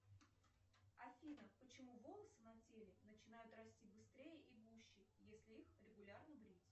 афина почему волосы на теле начинают расти быстрее и гуще если их регулярно брить